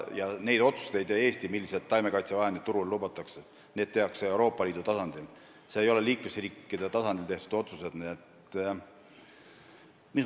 Ja neid otsuseid, milliseid taimekaitsevahendeid turule lubatakse, ei tee Eesti ega ükski liikmesriik ise, vaid need tehakse Euroopa Liidu tasandil.